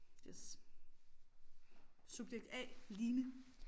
Yes Subjekt A Line